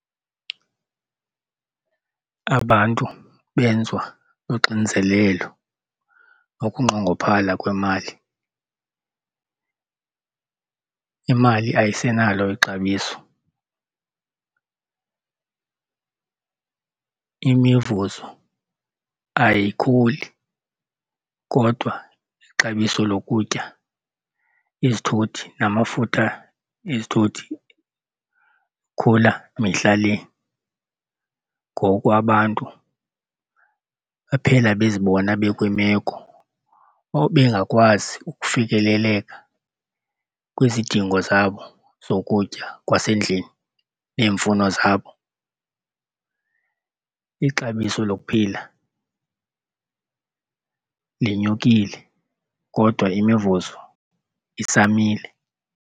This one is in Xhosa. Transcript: Abantu benziwa uxinzelelo nokunqongophala kwemali. Imali ayisenalo ixabiso, imivuzo ayikhuli kodwa ixabiso lokutya, izithuthi namafutha ezithuthi akhula mihla le ngoku abantu baphela bezibona bekwiimeko obengakwazi ukufikeleleka kwizidingo zabo zokutya kwasendlini neemfuno zabo. Ixabiso lokuphila linyukile kodwa imivuzo isamile.